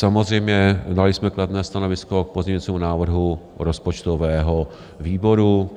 Samozřejmě, dali jsme kladné stanovisko k pozměňovacímu návrhu rozpočtového výboru.